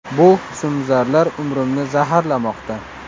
Bu husnbuzarlar umrimni zaharlamoqda.